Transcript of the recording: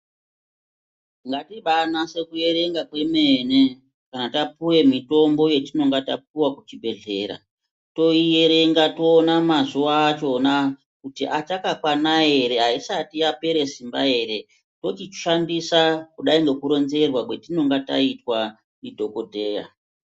Ngatibanyase kuerenga kwemene kana tapuwa mitombo yatinenge tapuwa kuchibhedhlera toierenga toiona mazuva acho pona kuti achakwana ere aisati yapera ere vochishandiswa nekuronzerwa kwatinenge yaitwa ndidhokodheya.